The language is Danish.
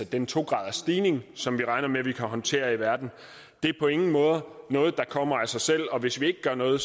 den to gradersstigning som vi regner med vi kan håndtere i verden er på ingen måde noget der kommer af sig selv og hvis vi ikke gør noget